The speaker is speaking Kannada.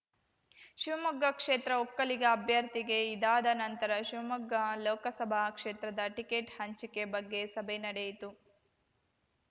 ಶಿವಮೊಗ್ಗ ಕ್ಷೇತ್ರ ಒಕ್ಕಲಿಗ ಅಭ್ಯರ್ಥಿಗೆ ಇದಾದ ನಂತರ ಶಿವಮೊಗ್ಗ ಲೋಕಸಭಾ ಕ್ಷೇತ್ರದ ಟಿಕೆಟ್‌ ಹಂಚಿಕೆ ಬಗ್ಗೆ ಸಭೆ ನಡೆಯಿತು